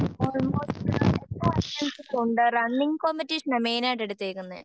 running കോമ്പറ്റിഷനാ മൈനായിട്ട് എടുത്തേക്കുന്നെ